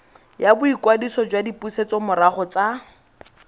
ya boikwadiso jwa dipusetsomorago tsa